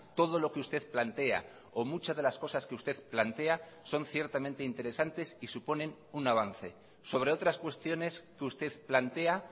todo lo que usted plantea o muchas de las cosas que usted plantea son ciertamente interesantes y suponen un avance sobre otras cuestiones que usted plantea